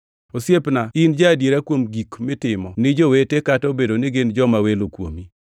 Osiepna in ja-adiera kuom gik mitimo ni jowete kata obedo ni gin joma welo kuomi.